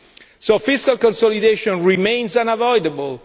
so fiscal consolidation remains unavoidable.